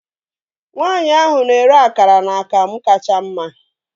Nwaanyi ahụ na-ere akara na akamu kacha mma